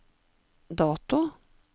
dato